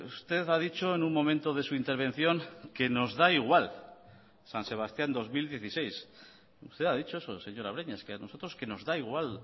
usted ha dicho en un momento de su intervención que nos da igual san sebastián dos mil dieciséis usted ha dicho eso señora breñas que a nosotros que nos da igual